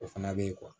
O fana bɛ ye